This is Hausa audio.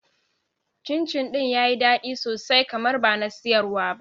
Cin cin ɗin yayi daɗi sosai kamar bana siyarwa ba